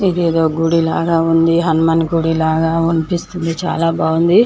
ఇదేదో గుడి లాగా ఉంది. హనుమాన్ గుడి లాగా అనిపిస్తుంది. చాలా బాగుంది.